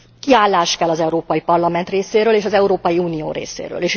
Kiállás kell az Európai Parlament részéről és az Európai Unió részéről.